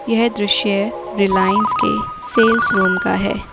यह दृश्य रिलायंस के सेल्स रूम का है।